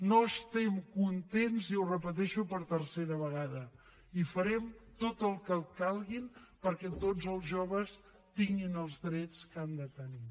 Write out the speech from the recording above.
no estem contents i ho repeteixo per tercera vegada i farem tot el que calgui perquè tots els joves tinguin els drets que han de tenir